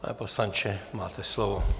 Pane poslanče, máte slovo.